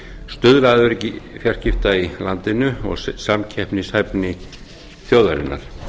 stuðla að öryggi fjarskipta í landinu og smakpeppnishæfni þjóðarinnar